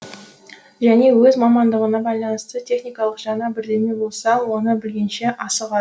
және өз мамандығына байланысты техникалық жаңа бірдеме болса оны білгенше